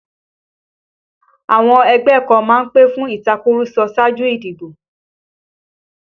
Àwọn ẹgbẹ́ kan má ń pè fún ìtàkurọ̀sọ ṣáájú ìdìbò